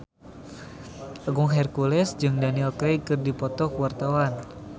Agung Hercules jeung Daniel Craig keur dipoto ku wartawan